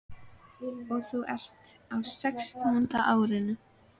Og þú ert á sextánda árinu.